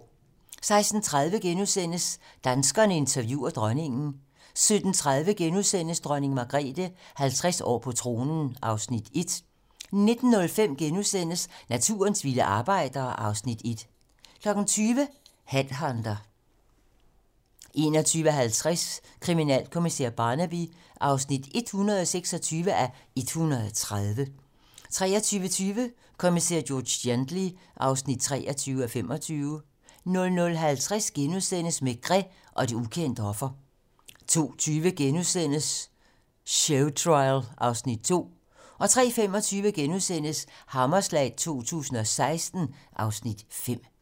16:30: Danskerne interviewer dronningen * 17:30: Dronning Margrethe - 50 år på tronen (Afs. 1)* 19:05: Naturens vilde arbejdere (Afs. 1) 20:00: Headhunter 21:50: Kriminalkommissær Barnaby (126:130) 23:20: Kommissær George Gently (23:25) 00:50: Maigret og det ukendte offer * 02:20: Showtrial (Afs. 2)* 03:25: Hammerslag 2016 (Afs. 5)*